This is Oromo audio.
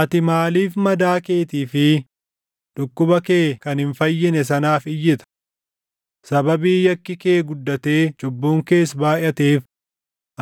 Ati maaliif madaa keetii fi dhukkuba kee kan hin fayyine sanaaf iyyita? Sababii yakki kee guddatee cubbuun kees baayʼateef,